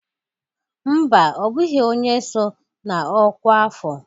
Mba, ọ bụghị onye so na ọkwa afọ